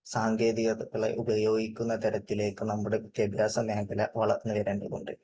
സാങ്കേതികങ്ങളെ ഉപയോഗിക്കുന്ന തരത്തിലേക്ക് നമ്മുടെ വിദ്യാഭ്യാസ മേഖല വളർന്നു വരേണ്ടതുണ്ട്.